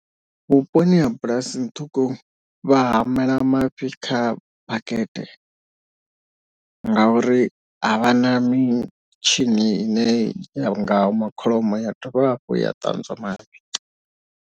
Vhuponi ha bulasini ṱhukhu vha hamela mafhi kha bakete. Ngauri a vha na mitshini ine ya nga hama kholomo ya dovha hafhu ya ṱanzwa mafhi.